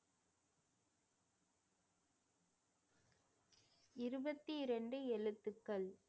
இருபத்தி இரண்டு எழுத்துக்கள்